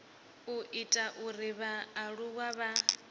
u ita uri vhaaluwa vha